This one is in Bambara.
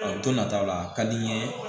don nataw la a ka di n ye